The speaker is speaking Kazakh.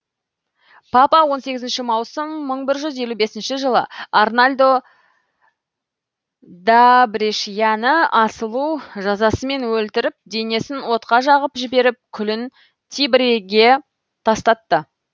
папа он сегізінші маусым бір мың жүз елі бес жылы арналдо да брешиані асылу жазасымен өлтіріп денесін отқа жағып жіберіп күлін тибриге тастатты